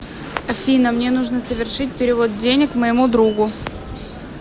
афина мне нужно совершить перевод денег моему другу